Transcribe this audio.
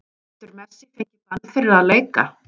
Getur Messi fengið bann fyrir að leika?